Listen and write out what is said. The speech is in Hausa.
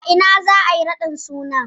A ina za'a yi raɗin sunan?